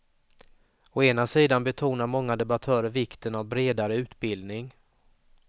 Å ena sidan betonar många debattörer vikten av bredare utbildning.